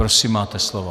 Prosím, máte slovo.